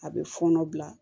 A bɛ fɔɔnɔ bila